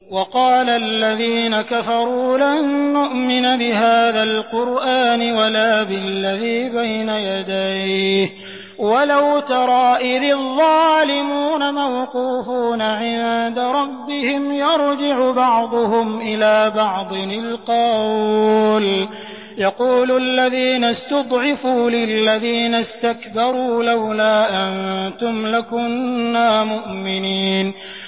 وَقَالَ الَّذِينَ كَفَرُوا لَن نُّؤْمِنَ بِهَٰذَا الْقُرْآنِ وَلَا بِالَّذِي بَيْنَ يَدَيْهِ ۗ وَلَوْ تَرَىٰ إِذِ الظَّالِمُونَ مَوْقُوفُونَ عِندَ رَبِّهِمْ يَرْجِعُ بَعْضُهُمْ إِلَىٰ بَعْضٍ الْقَوْلَ يَقُولُ الَّذِينَ اسْتُضْعِفُوا لِلَّذِينَ اسْتَكْبَرُوا لَوْلَا أَنتُمْ لَكُنَّا مُؤْمِنِينَ